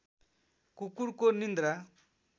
कुकुरको निन्द्रा